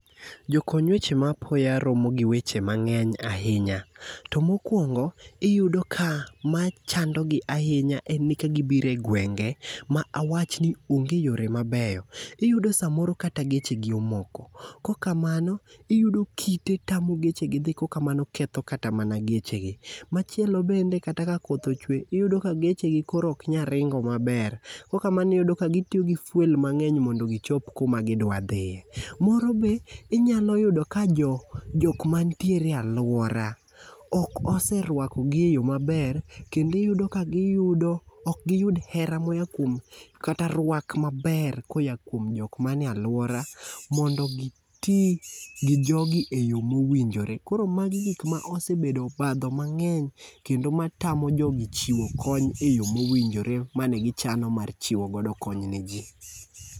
Jokony weche ma apoya romo gi weche mang'eny ahinya, to mokwongo, iyudo ka machandogi ahinya en ni ka gibiro e gwenge ma awach ni onge yore mabeyo, iyudo samoro kata gechegi omoko, kokamano, iyudo kite tamo gechegi dhi kokamano ketho kata mana gechegi. Machielo bende kata ka koth ochwe, iyudo ka gechegi koro ok nya ringo maber, kokamano iyudo ka gitiyo gi fuel mang'eny mondo gichop kuma gidwa dhiye. Moro be inya yudo ka jok mantiere e alwora ok oserwakogi e yo maber kendo iyudo ka ok giyud heraa moya kuom, kata rwak maber koya kuom jok manie alwora mondo giti gi jogi e yo mowinjore. Koro magi gik ma osebedo obadho mang'eny ,kendo matamo jogi chiwo kony e yo mowinjore mane gichano mar chiwo godo kony ne ji.